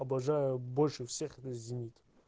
обожаю больше всех зенит